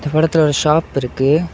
இந்த படத்துல ஒரு ஷாப் இருக்கு.